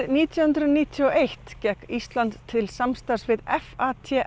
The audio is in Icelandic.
nítján hundruð níutíu og eitt gekk Ísland til samstarfs við